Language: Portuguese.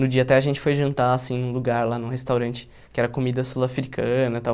No dia até a gente foi jantar, assim, num lugar lá, num restaurante, que era comida sul-africana e tal.